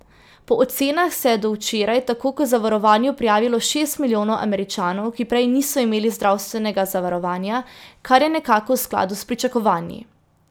Po ocenah se je do včeraj tako k zavarovanju prijavilo šest milijonov Američanov, ki prej niso imeli zdravstvenega zavarovanja, kar je nekako v skladu s pričakovanji.